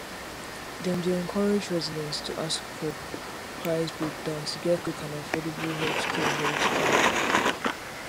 dem dey encourage residents to ask for price breakdown to get quick and affordable healthcare healthcare